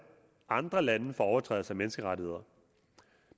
andre lande for overtrædelse af menneskerettighederne